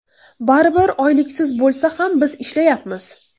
Baribir, oyliksiz bo‘lsa ham biz ishlayapmiz.